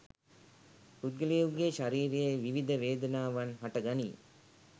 පුද්ගලයෙකුගේ ශරීරයේ විවිධ වේදනාවන් හටගනී.